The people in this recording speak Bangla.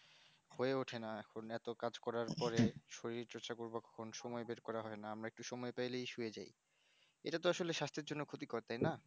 হয়ে ওঠে না এখন এত কাজ করার পরে শরীর চর্চা করবার কখন সময় বের করা হয়না আমরা একটু সময় পাইলেই শুয়ে যাই এটা তো আসলে সাস্থের জন্য ক্ষতি কর তাইনা